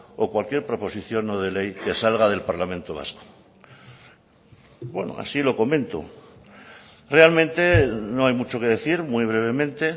o cualquier proposición no de ley que salga del parlamento vasco así lo comento realmente no hay mucho que decir muy brevemente